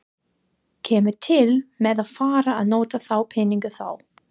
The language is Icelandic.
Kemur til með að fara að nota þá peninga þá?